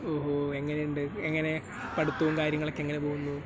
ഓ ..... എങ്ങനെയുണ്ട് ? എങ്ങനെ, പഠിപ്പും കാര്യങ്ങളുമൊക്കെ എങ്ങനെ പോകുന്നു ?